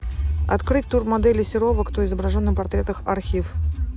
открыть тур модели серова кто изображен на портретах архив